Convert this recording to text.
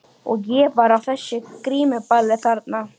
Og ég var á þessu grímuballi þarna.